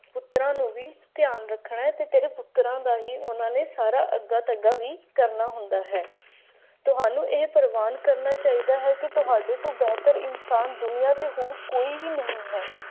ਪੁੱਤਰਾਂ ਨੂੰ ਵੀ ਧਿਆਨ ਰੱਖਣਾ ਸਿਰਫ ਸਰਕਾਰਾਂ ਦਾ ਹੀ ਉਹਨਾਂ ਨੇ ਸਾਰਾ ਅੱਗਾ ਸਾਡਾ ਵੀ ਕਰਨਾ ਹੁੰਦਾ ਹੈ ਤੁਹਾਨੂੰ ਇਹ ਪ੍ਰਵਾਨ ਕਰਨਾ ਚਾਹੀਦਾ ਹੈ ਕਿ ਤੁਹਾਨੂੰ ਬਿਹਤਰ ਇਨਸਾਨ ਦੁਨੀਆਂ ਤੇ ਹੋਰ ਕੋਈ ਨਹੀਂ ਹੈ